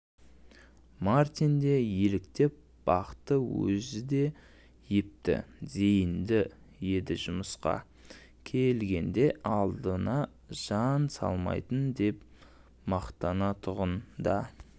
мартин де еліктеп бақты өзі де епті зейінді еді жұмысқа келгенде алдыма жан салмаймын деп мақтанатұғын да